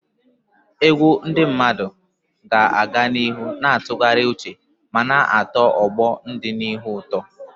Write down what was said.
Egwu ndị mmadụ ga-aga n'ihu na-atụgharị uche ma na-atọ ọgbọ n'ọdịnihu ụtọ.